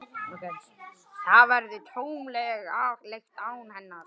Það verður tómlegt án hennar.